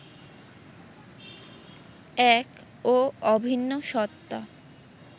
এক ও অভিন্ন সত্তা